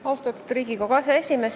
Austatud Riigikogu aseesimees!